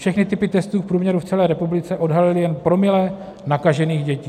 Všechny typy testů v průměru v celé republice odhalily jen promile nakažených dětí.